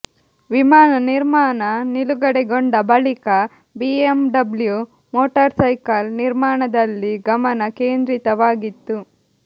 ವಿಮಾನ ನಿರ್ಮಾಣ ನಿಲುಗಡೆಗೊಂಡ ಬಳಿಕ ಬಿಎಂಡಬ್ಲ್ಯು ಮೋಟಾರ್ಸೈಕಲ್ ನಿರ್ಮಾಣದಲ್ಲಿ ಗಮನ ಕೇಂದ್ರಿತವಾಗಿತ್ತು